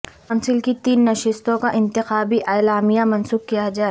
council کی تین نشستوں کا انتخابی اعلامیہ منسوخ کیا جائے